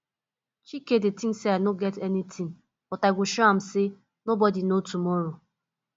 chike dey think say i no get anything but i go show am say nobody know tomorrow